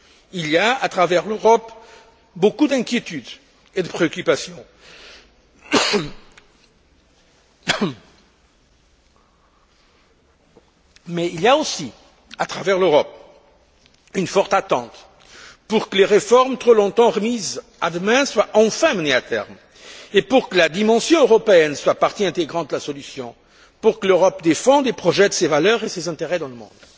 Il y a, à travers l'Europe, beaucoup d'inquiétudes et de préoccupations mais il y a aussi, à travers l'Europe, une forte attente pour que les réformes, trop longtemps remises à demain, soient enfin menées à terme et pour que la dimension européenne soit une partie intégrante de la solution, pour que l'Europe défende ses projets, ses valeurs et ses intérêts dans le monde.